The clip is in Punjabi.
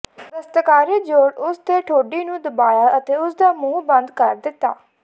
ਦਸਤਕਾਰੀ ਜੂੜ ਉਸ ਦੇ ਠੋਡੀ ਨੂੰ ਦਬਾਇਆ ਅਤੇ ਉਸ ਦਾ ਮੂੰਹ ਬੰਦ ਕਰ ਦਿੱਤਾ